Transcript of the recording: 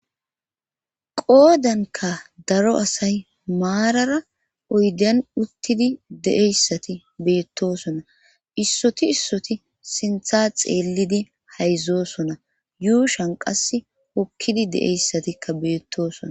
qoodankka daro asay maarara oydan uttidi deeyssati beettosona issoti issoti sintha xeellidi hayzzosona yuushan qas okkidi de7eyssatikka beettosona